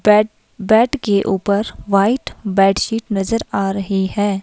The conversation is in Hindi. बेड बेड के ऊपर व्हाईट बैडशीट नजर आ रही है।